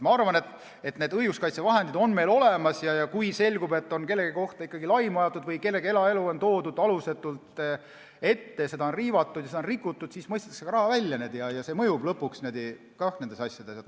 Ma arvan, et õiguskaitsevahendid on meil olemas ja kui selgub, et kellegi kohta on ikkagi laimu räägitud või kellegi eraelu on toodud alusetult välja, seda on riivatud ja selle puutumatust on rikutud, siis mõistetakse ka raha välja ja see lõpuks nendes asjades mõjub.